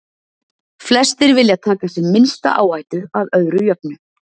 Flestir vilja taka sem minnsta áhættu, að öðru jöfnu.